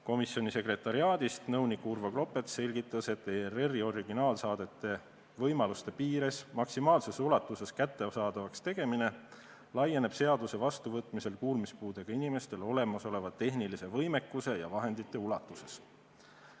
Komisjoni sekretariaadist selgitas nõunik Urvo Klopets, et ERR-i originaalsaadete võimaluste piires maksimaalses ulatuses kättesaadavaks tegemine laieneb seaduse vastuvõtmise korral kuulmispuudega inimestele olemasoleva tehnilise võimekuse ja olemasolevate vahendite ulatuses.